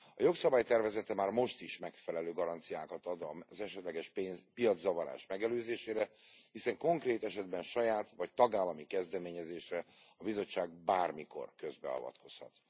A jogszabály tervezete már most is megfelelő garanciákat ad az esetleges piaczavarás megelőzésére, hiszen konkrét esetben saját vagy tagállami kezdeményezésre a Bizottság bármikor közbeavatkozhat.